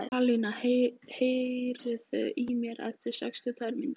Alíana, heyrðu í mér eftir sextíu og tvær mínútur.